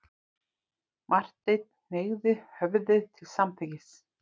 Marteinn hneigði höfðið til samþykkis.